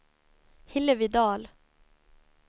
Hillevi Dahl